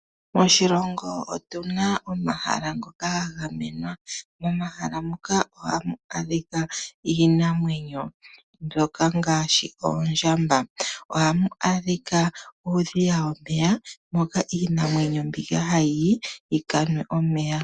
Oshilongo otuna omahala ngoka gagamenwa. Momahala moka ohamu adhika iinamwenyo mbyoka ngaashi oondjamba. Ohamu adhika uudhiya womeya moka iinamwenyo mbika hayiyi yikanwe omeya.